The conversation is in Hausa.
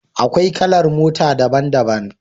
Akwai kalar mota daban-daban.